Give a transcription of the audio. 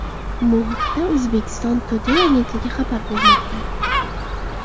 Bu haqda Uzbekistan Today agentligi xabar bermoqda .